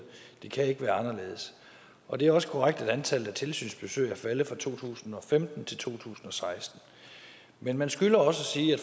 det kan ikke være anderledes og det er også korrekt at antallet af tilsynsbesøg er faldet fra to tusind og femten til to tusind og seksten men man skylder at sige